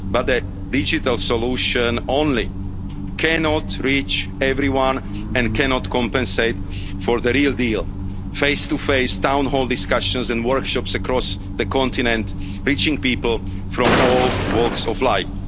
EU institutions. But a digital solution alone cannot reach everyone and cannot compensate for the real deal face-to-face town hall discussions and workshops across the continent, reaching people from all